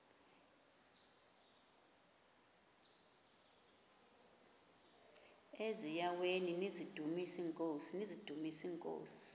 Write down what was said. eziaweni nizidumis iinkosi